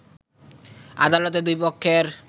আদালতে দুই পক্ষের